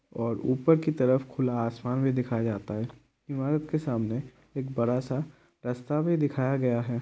ऊपर की तरफ खुला आसमान भी दिखाया जाता है| ईमारत के सामने एक बड़ा-सा रास्ता भी दिखाया गया है।